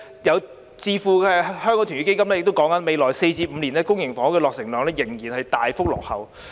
有智庫指出，未來4至5年的公營房屋落成量仍然大幅落後於目標。